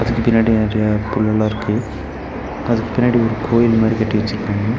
இதுக்கு பின்னாடி நெறையா புல்லல்லா இருக்கு அதுக்கு பின்னாடி ஒரு கோயில் மாரி கட்டி வெச்சிருக்காங்க.